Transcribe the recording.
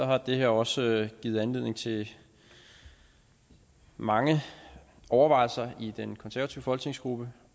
har det her også givet anledning til mange overvejelser i den konservative folketingsgruppe